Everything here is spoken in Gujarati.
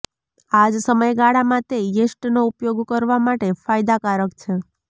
આ જ સમયગાળામાં તે યીસ્ટનો ઉપયોગ કરવા માટે ફાયદાકારક છે